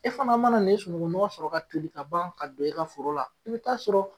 E fana mana na nin sunungunɔgɔ sɔrɔ ka doni ka ban, ka don i ka foro la, i bi ta sɔrɔ.